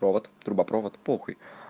провод трубопровод похуй